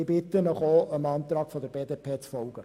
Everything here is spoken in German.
Ich bitte Sie, dem Antrag der BDP zu folgen.